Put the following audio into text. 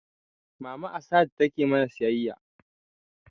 Mama a sahad take mana siyayya